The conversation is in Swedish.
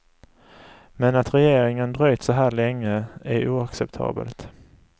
Men att regeringen dröjt så här länge är oacceptabelt.